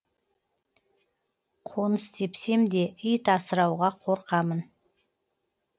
қоныс тепсемде ит асырауға қорқамын